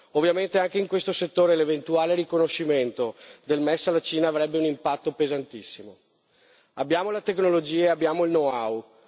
Ovviamente, anche in questo settore l'eventuale riconoscimento del MES alla Cina avrebbe un impatto pesantissimo. Abbiamo le tecnologie e abbiamo il know how.